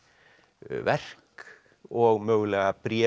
verk og mögulega bréf og